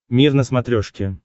мир на смотрешке